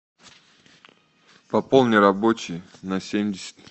пополни рабочий на семьдесят